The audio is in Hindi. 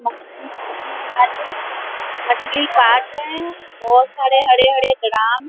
मछली काटने वाले मछली काट रहे है बहुत सारे हरे-हरे ड्राम --